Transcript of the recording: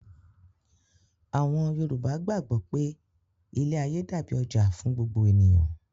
Àwọn Yorùbá gbàgbọ́ pé ilé-ayé dàbí ọjà fún gbogbo ènìyàn.